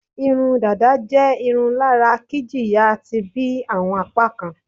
Irun dada je irun lara kijiya ti bi awọn apakan